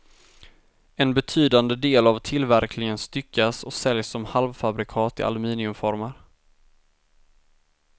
En betydande del av tillverkningen styckas och säljs som halvfabrikat i aluminiumformar.